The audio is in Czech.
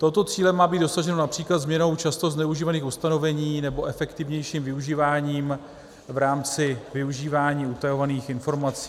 Tohoto cíle má být dosaženo například změnou často zneužívaných ustanovení nebo efektivnějším využíváním v rámci využívání utajovaných informací.